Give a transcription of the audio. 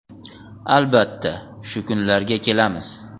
Albatta, shu kunlarga kelamiz.